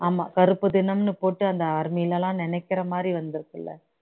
ஆமா கருப்பு தினம்ன்னு போட்டு அந்த army லலாம் நினைக்கிற மாதிரி வந்திருக்குல